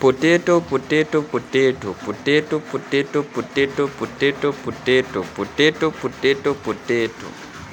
016:44 Potato, Potato, Potato, Potato, Potato, Potato, Potato, Potato, Potato, Potato, Potato, Potato, Potato, Potato, Potato, Potato, Potato, Potato